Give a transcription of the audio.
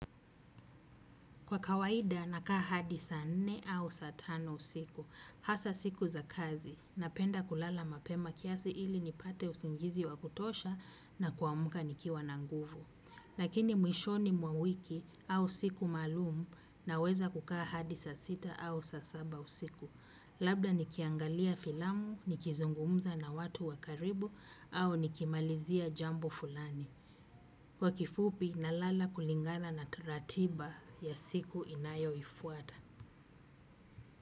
Kwa kawaida nakaa hadi saa nne au saa tano usiku, hasa siku za kazi, napenda kulala mapema kiasi ili nipate usingizi wa kutosha na kuamka nikiwa na nguvu. Lakini mwishoni mwa wiki au siku maalumu naweza kukaa hadi saa sita au saa saba usiku. Labda nikiangalia filamu, nikizungumza na watu wa karibu au nikimalizia jambo fulani. Kwa kifupi nalala kulingana na taratiba ya siku inayoifuata.